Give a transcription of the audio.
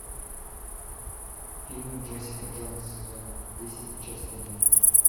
фильм джессика джонс сезон десять часть один